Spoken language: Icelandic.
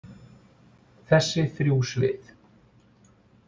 Þessi þrjú svið.